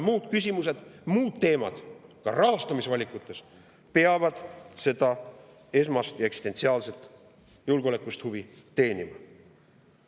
Muud küsimused, muud teemad ka rahastamisvalikutes peavad seda esmast ja eksistentsiaalset julgeolekuhuvi teenima.